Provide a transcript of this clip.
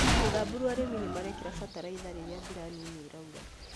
Samburu arĩmĩ nĩmarekĩra bataraitha rĩrĩa mbura nini ĩraura